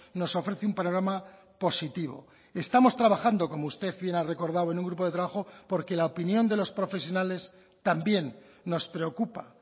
nos ofrece un panorama positivo estamos trabajando como usted bien ha recordado en un grupo de trabajo porque la opinión de los profesionales también nos preocupa